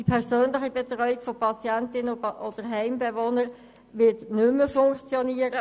Die persönliche Betreuung der Patienten oder Heimbewohner wird nicht mehr funktionieren.